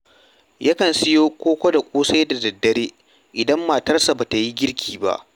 Yakan siyo koko da ƙosai da daddare idan matarsa ba ta yi girki ba